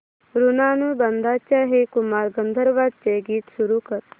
ऋणानुबंधाच्या हे कुमार गंधर्वांचे गीत सुरू कर